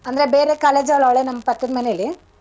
ಅಂದ್ರೆ ಬೇರೆ college ಅವ್ಳ್ ಅವ್ಳೆ ನಮ್ಮ್ ಪಕ್ಕದ್ ಮನೇಲಿ.